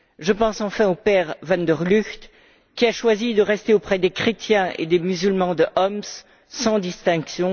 Je pense enfin au pèrevanderLugt, qui a choisi de rester auprès des chrétiens et des musulmans de Homs, sans distinction.